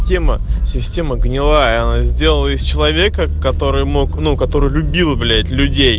система гнилая она сделала из человека который мог ну который любил блять